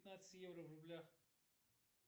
пятнадцать евро в рублях